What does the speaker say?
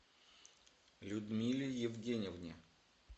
людмиле евгеньевне